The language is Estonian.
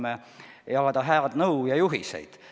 Me saame jagada head nõu ja juhiseid.